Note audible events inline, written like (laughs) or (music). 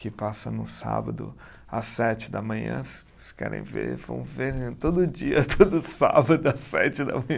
que passa no sábado às sete da manhã, se se querem ver, vão ver todo dia, todo sábado (laughs) às sete da manhã.